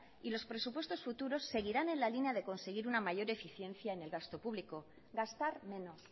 y los presupuestos futuros seguirán en la línea de conseguir una mayor eficiencia en el gasto público gastar menos